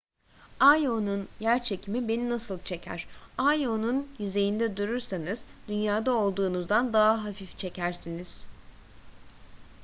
io'nun yerçekimi beni nasıl çeker io'nun yüzeyinde durursanız dünya'da olduğunuzdan daha hafif çekersiniz